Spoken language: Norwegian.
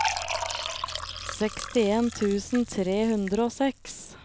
sekstien tusen tre hundre og seks